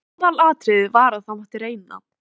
Þér aflið upplýsinga um skipaferðir einsog yður hentar.